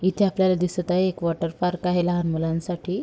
इथे आपल्याला दिसत आहे एक वॉटरपार्क आहे लहान मुलांसाठी.